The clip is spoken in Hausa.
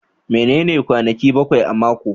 Menene kwanaki bakwai na mako?